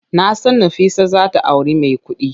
Nasan Nafisa zata auri mai kudi.